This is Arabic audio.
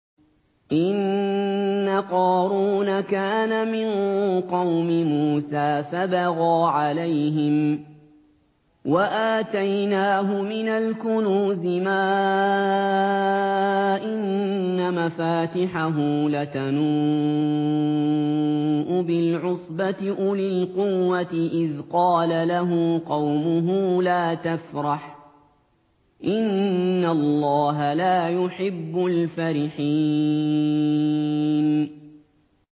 ۞ إِنَّ قَارُونَ كَانَ مِن قَوْمِ مُوسَىٰ فَبَغَىٰ عَلَيْهِمْ ۖ وَآتَيْنَاهُ مِنَ الْكُنُوزِ مَا إِنَّ مَفَاتِحَهُ لَتَنُوءُ بِالْعُصْبَةِ أُولِي الْقُوَّةِ إِذْ قَالَ لَهُ قَوْمُهُ لَا تَفْرَحْ ۖ إِنَّ اللَّهَ لَا يُحِبُّ الْفَرِحِينَ